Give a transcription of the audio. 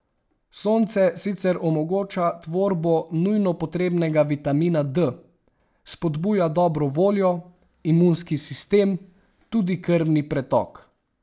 Sonce sicer omogoča tvorbo nujno potrebnega vitamina D, spodbuja dobro voljo, imunski sistem, tudi krvni pretok.